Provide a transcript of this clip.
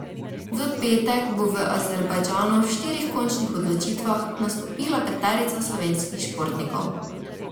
V petek bo v Azerbajdžanu v štirih končnih odločitvah nastopila peterica slovenskih športnikov.